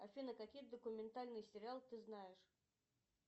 афина какие документальные сериалы ты знаешь